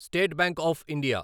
state Bank of India